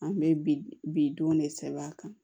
An bɛ bi bi don ne sɛbɛn a kan